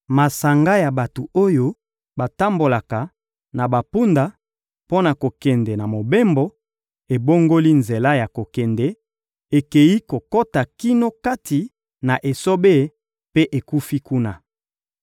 Masanga ya bato oyo batambolaka na bampunda mpo na kokende na mobembo, ebongoli nzela ya kokende, ekeyi kokota kino kati na esobe mpe ekufi kuna.